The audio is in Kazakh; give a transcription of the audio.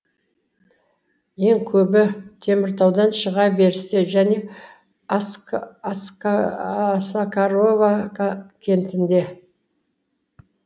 ең көбі теміртаудан шыға берісте және осакарова кентінде